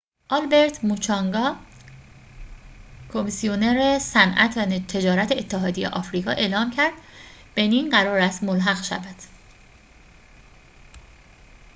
آلبرت موچانگا کمیسیونر صنعت و تجارت اتحادیه آفریقا اعلام کرد بنین قرار است ملحق شود